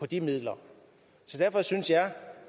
de midler så derfor synes jeg